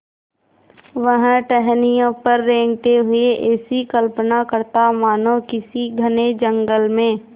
वह टहनियों पर रेंगते हुए ऐसी कल्पना करता मानो किसी घने जंगल में